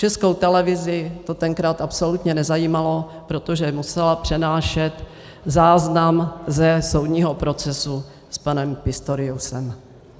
Českou televizi to tenkrát absolutně nezajímalo, protože musela přenášet záznam ze soudního procesu s panem Pistoriusem.